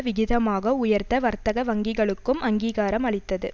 விகிதமாக உயர்த்த வர்த்தக வங்கிகளுக்கும் அங்கீகாரம் அளித்தது